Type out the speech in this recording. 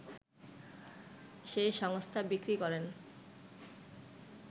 সেই সংস্থা বিক্রি করেন